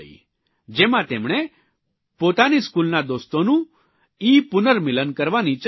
જેમાં તેમણે પોતાના સ્કૂલના દોસ્તોનું ઇપુર્નમિલન કરવાની ચર્ચા કરી છે